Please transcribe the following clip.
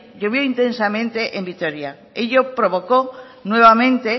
llovió intensamente en vitoria ello provocó nuevamente